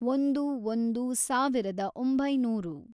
ಒಂದು, ಒಂದು, ಸಾವಿರದ ಒಂಬೈನೂರು